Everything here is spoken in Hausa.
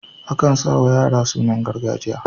Akan sa wa yara sunan gargajiya.